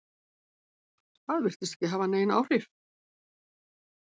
Það virtist ekki hafa nein áhrif?